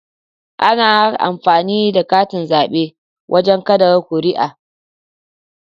Ana amfani da katin zabe wajen kada kuri'a